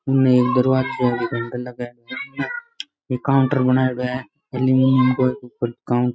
room में एक दरवाज़ाे है बीके एक काउंटर बणायोडो है एल्युमीनियम को बीके ऊपर --